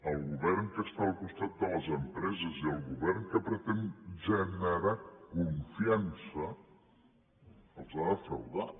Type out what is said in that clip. el govern que està al costat de les empreses i el govern que pretén generar confiança els ha defraudat